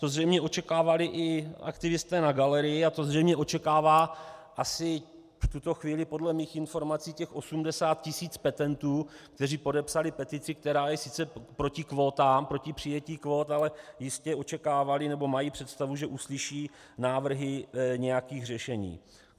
To zřejmě očekávali i aktivisté na galerii a to zřejmě očekává asi v tuto chvíli podle mých informací těch 80 tisíc petentů, kteří podepsali petici, která je sice proti kvótám, proti přijetí kvót, ale jistě očekávali nebo mají představu, že uslyší návrhy nějakých řešení.